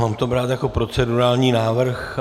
Mám to brát jako procedurální návrh?